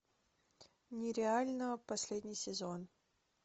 нереально последний сезон